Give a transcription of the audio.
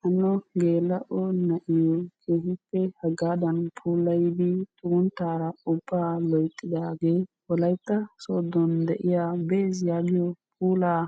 Hano geella"o naa'iyo keehippe hagadana puulayyidi xugunttaara ubbaa loyttidaage Wolaytta soodon de'iyaa bessi yaagiyaa puulaa